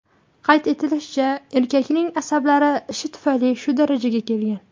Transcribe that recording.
Qayd etilishicha, erkakning asablari ishi tufayli shu darajaga kelgan.